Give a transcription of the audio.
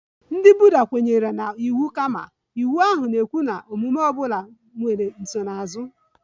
Ndị Buddha kwenyere na iwu karma, iwu ahụ na-ekwu na omume ọ bụla nwere nsonaazụ